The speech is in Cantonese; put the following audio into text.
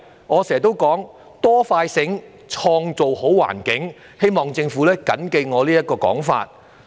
我經常說，"多、快、醒，創造好環境"，希望政府緊記我這個說法。